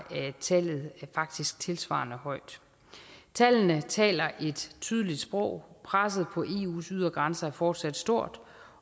tallet faktisk tilsvarende højt tallene taler et tydeligt sprog presset på eus ydre grænser er fortsat stort